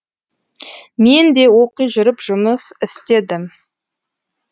мен де оқи жүріп жұмыс істедім